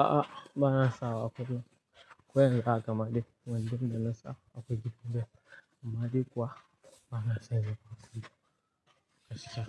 A'a, ba na sawa a kullum. Ku yanka madigwan, domin da na sawa akugun da. Madigwa ba na saida wasu kasuwa,